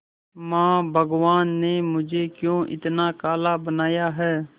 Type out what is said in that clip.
मां भगवान ने मुझे क्यों इतना काला बनाया है